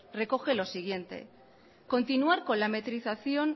recoge lo siguiente continuar con la metrización